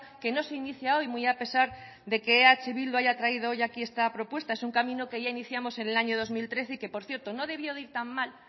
que no se inicia hoy muy a pesar de que eh bildu haya traído hoy aquí esta propuesta es una camino que ya iniciamos en el año dos mil trece y que por cierto no debió de ir tan mal